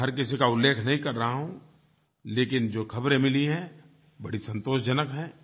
मैं हर किसी का उल्लेख नहीं कर रहा हूँ लेकिन जो ख़बरें मिली हैं बड़ी संतोषजनक हैं